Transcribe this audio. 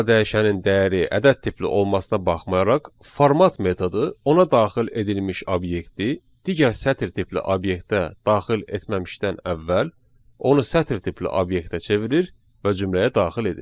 A dəyişənin dəyəri ədəd tipli olmasına baxmayaraq, format metodu ona daxil edilmiş obyekti digər sətir tipli obyektə daxil etməmişdən əvvəl onu sətir tipli obyektə çevirir və cümləyə daxil edir.